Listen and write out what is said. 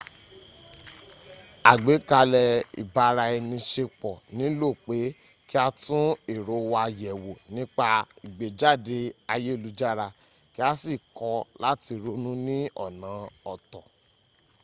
àgbékalẹ̀ ibara-ẹni-ṣepọ̀ nílò pé kí a tún èrò wa yẹ̀wò nípa ìgbéjáde ayélujára kí a sì kọ́ láti ronú ní ọ̀nà ọ̀tọ